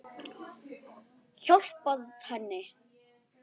Hjálpað henni.